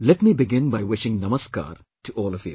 Let me begin by wishing 'Namaskar' to all of you